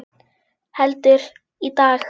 Heldur, í dag!